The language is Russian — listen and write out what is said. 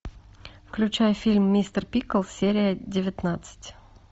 включай фильм мистер пиклз серия девятнадцать